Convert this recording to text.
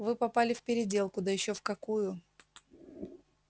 вы попали в переделку да ещё в какую